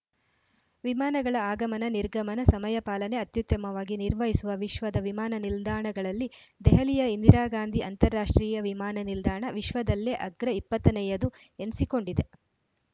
ವಿಮಾನಗಳ ಆಗಮನ ನಿರ್ಗಮನ ಸಮಯ ಪಾಲನೆ ಅತ್ಯುತ್ತಮವಾಗಿ ನಿರ್ವಹಿಸುವ ವಿಶ್ವದ ವಿಮಾನನಿಲ್ದಾಣಗಳಲ್ಲಿ ದೆಹಲಿಯ ಇಂದಿರಾ ಗಾಂಧಿ ಅಂತಾರಾಷ್ಟ್ರೀಯ ವಿಮಾನ ನಿಲ್ದಾಣ ವಿಶ್ವದಲ್ಲೇ ಅಗ್ರ ಇಪ್ಪತ್ತ ನೆಯದು ಏನ್ಸಿಕೊಂಡಿದೆ